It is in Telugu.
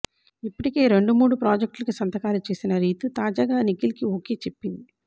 ఇప్పటికే రెండు మూడు ప్రాజెక్టులకి సంతకాలు చేసిన రీతూ తాజాగా నిఖిల్కీ ఓకే చెప్పింది